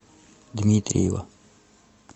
дмитриева